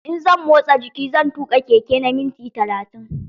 In zan motsa jiki, zan tuƙa keke na minti talatin.